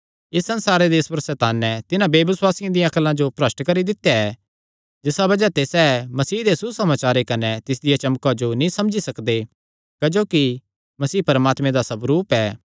इस संसारे दे ईश्वर सैताने तिन्हां बेबसुआसियां दिया अक्ला जो भ्रष्ट करी दित्या ऐ जिसा बज़ाह ते सैह़ मसीह दे सुसमाचारे कने तिसदिया चमका जो नीं समझी सकदे क्जोकि मसीह परमात्मे दा स्वरूप ऐ